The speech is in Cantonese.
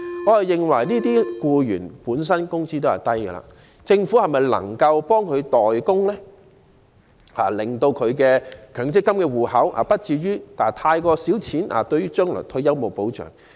我認為這些僱員本身的工資已經低，政府是否能夠代他們供款，令他們強積金戶口的存款不至於太少，將來退休欠缺保障？